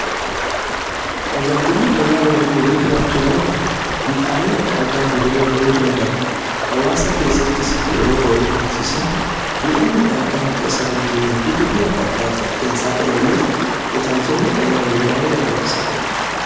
Tajaajilli fayyaa horii yeroo jiraachuu baate miidhaaleen adda addaa horiira ga'uu danda'a .Hawaasa keessattis yeroo horii horsiisan miidhaan adda addaa akka isa irra hin geenye fi miidhaa adda addaatiif akka hin saaxilamne tajaajilli fayyaa horii baay'ee barbaachisaadha.